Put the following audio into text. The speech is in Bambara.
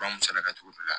Fura mun saraka togo di la